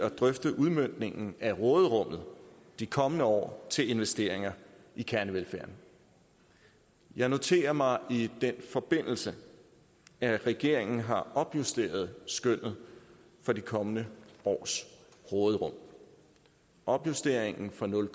at drøfte udmøntningen af råderummet de kommende år til investeringer i kernevelfærden jeg noterer mig i den forbindelse at regeringen har opjusteret skønnet for de kommende års råderum opjusteringen fra nul